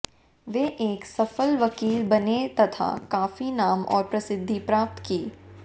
वे एक सफल वकील बने तथा काफी नाम और प्रसिद्धि प्राप्त की